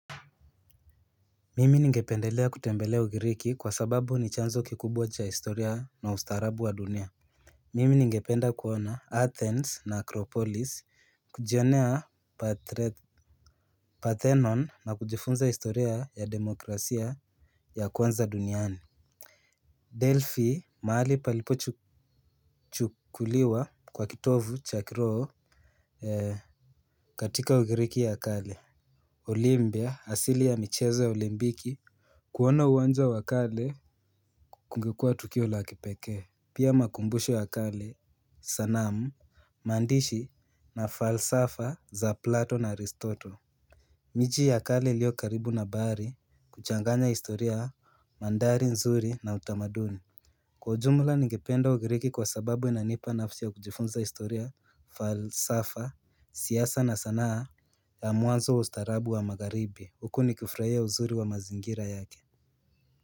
Mimi ningependelea kutembelea ugiriki kwa sababu ni chanzo kikubwa cha historia na ustaarabu wa dunia. Mimi ningependa kuona Athens na Akropolis kujionea Parthenon na kujifunza historia ya demokrasia ya kwanza duniani Delphi mahali palipo chukuliwa kwa kitovu cha kiroo katika ugiriki ya kale Olympia asili ya michezo ya ulimpiki. Kuona uwanja wak ale. Kungekuwa tukio la kipekee. Pia makumbusho ya kale, sanamu, maandishi na falsafa za Plato na Aristoto. Miji ya kale iliyo karibu na bahari huchanganya historia mandari nzuri na utamaduni. Kwa ujumla ningependa ugiriki kwa sababu inanipa nafsi ya kujifunza historia falsafa, siasa na sanaa ya mwanzo wa ustarabu wa magharibi, huku nikifurahia uzuri wa mazingira yake.